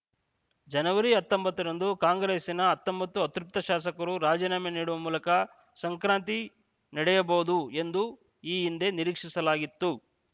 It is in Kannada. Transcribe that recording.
ಜನವರಿ ಹತ್ತೊಂಬತ್ತರಂದು ಕಾಂಗ್ರೆಸ್ಸಿನ ಹತ್ತೊಂಬತ್ತು ಅತೃಪ್ತ ಶಾಸಕರು ರಾಜೀನಾಮೆ ನೀಡುವ ಮೂಲಕ ಸಂಕ್ರಾಂತಿ ನಡೆಯಬಹುದು ಎಂದು ಈ ಹಿಂದೆ ನಿರೀಕ್ಷಿಸಲಾಗಿತ್ತು